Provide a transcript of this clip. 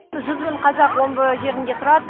жүз мың қазақ омбы жерінде тұрады